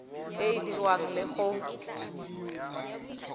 e e dirwang le go